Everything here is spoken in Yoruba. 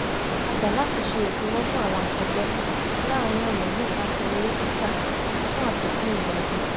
a gbà láti ṣe ìfirọ́pò àwọn akẹgbẹ́ láàrin ọ̀nà nípasẹ̀ eré sísá fún àfikún ìgbádùn